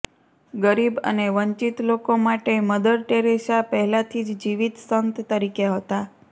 ગરીબ અને વંચિત લોકો માટે મદર ટેરેસા પહેલાથી જ જીવિત સંત તરીકે હતા